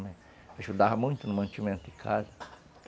Ajudava muito no mantimento de casa.